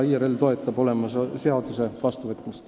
IRL toetab seaduse vastuvõtmist.